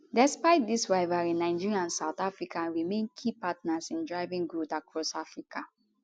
despite dis rivalry nigeria and south africa remain key partners in driving growth across africa